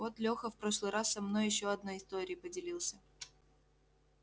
вот лёха в прошлый раз со мной ещё одной историей поделился